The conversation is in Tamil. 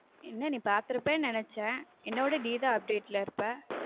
என்ன நீ பார்த்திருப்பாய் என்று நினைத்தேன் என்ன விட நீ தான் update ல இருப்ப